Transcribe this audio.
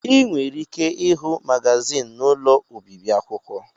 Ị nwere ike ịhụ magazin n'ụlọ obibi akwụkwọ.